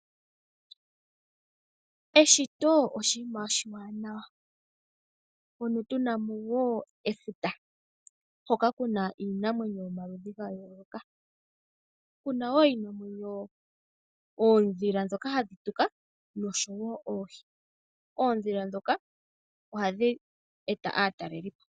Eshito oshiima oshimaliwa, mpono tu namo wo efuta hoka kuna iinamwenyo yomaludhi ga yooloka kuna wo oodhila dhoka hadhi tuka noshowo oohi, oodhila dho ohadhi eta aatalelipo.